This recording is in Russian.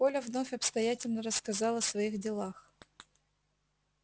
коля вновь обстоятельно рассказал о своих делах